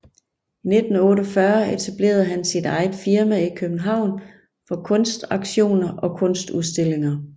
I 1948 etablerede han sit eget firma i København for kunstauktioner og kunstudstillinger